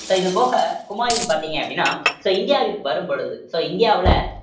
so இது போக ஹுமாயூன் பார்த்தீங்க அப்படின்னா so இந்தியாவிற்கு வரும் பொழுது so இந்தியாவுல